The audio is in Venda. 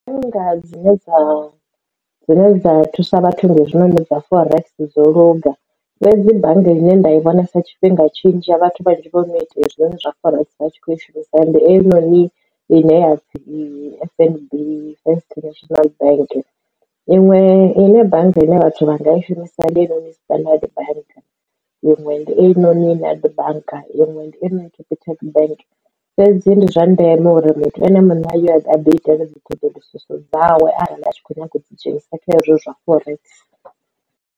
Ndi nga dzine dza dzine dza thusa vhathu ndi hezwi noni dza forex dzo luga fhedzi bannga ine nda i vhonesa tshifhinga tshinzhi ya vhathu vhanzhi vho no ita hezwinoni zwa forex vhatshi kho i shumisa ndi ei noni ine ya pfhi F_N_B first national bank iṅwe ine bannga ine vhathu vha nga i shumisa ndi heinoni Standard bank inwe ndi einoni Nedbank iṅwe Capitec bank fhedzi ndi zwa ndeme uri muthu ene mune a ya a ḓi itela dzi ṱhoḓuluso dzawe arali a tshi kho nyaga u dzi dzhenisa kha ezwo zwa forex.